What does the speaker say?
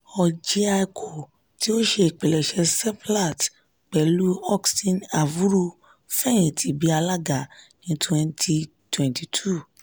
orjiako ti o ṣe ipilẹṣẹ seplat pẹlu austin avuru fẹyìntì bi alaga ni twenty twenty two